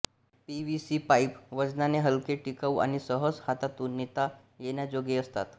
P V C pipe वजनाने हलके टिकाऊ आणि सहज हातातून नेता येण्याजोगे असतात